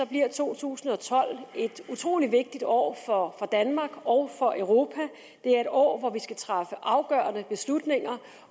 bliver to tusind og tolv et utrolig vigtigt år for danmark og for europa det er et år hvor vi skal træffe afgørende beslutninger